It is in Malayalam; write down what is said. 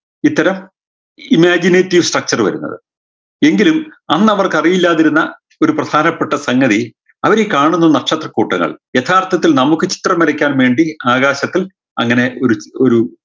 ഇത്തരം imaginity structure വരുന്നത് എങ്കിലും അന്നവർക്ക് അറിയില്ലാതിരുന്ന ഓരു പ്രധാനപ്പെട്ട സംഗതി അവരീ കാണുന്ന നക്ഷത്രക്കൂട്ടങ്ങൾ യഥാർത്ഥത്തിൽ നമുക്ക് ചിത്രം വരയ്ക്കാൻ വേണ്ടി ആകാശത്തിൽ അങ്ങനെ ഒര് ഒരു